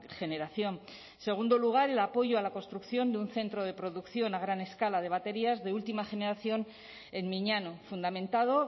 generación en segundo lugar el apoyo a la construcción de un centro de producción a gran escala de baterías de última generación en miñano fundamentado